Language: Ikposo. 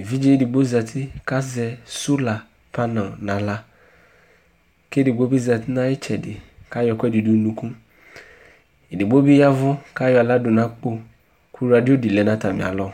Éʋidjé digbo zati ka zɛ sulafanɔ na aɣla Ké édigbo bizatina ayi tchɛdi ka yɔ ɛkuɛdi du nu unuku Édigbo bi yaʋu ka yɔ aɣla du na akpo Ku radio di lɛna atamialɔ